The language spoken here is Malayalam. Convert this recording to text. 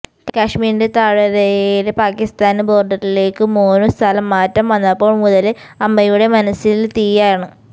കാശ്മീരിന്റെ താഴ്വരയില് പാക്കിസ്ഥാന് ബോഡറിലേക്കു മോനു സ്ഥലം മാറ്റം വന്നപ്പോള് മുതല് അമ്മയുടെ മനസ്സില് തീയാണ്